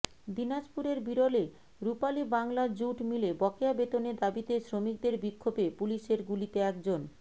দিনাজপুরের বিরলে রুপালী বাংলা জুট মিলে বকেয়া বেতনের দাবিতে শ্রমিকদের বিক্ষোভে পুলিশের গুলিতে একজন